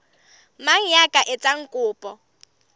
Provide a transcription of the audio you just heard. mang ya ka etsang kopo